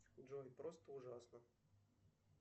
джой просто ужасно